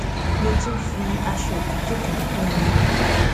mo tún fi aṣọ òtútù kan kún un